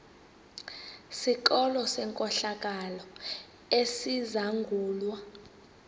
sikolo senkohlakalo esizangulwa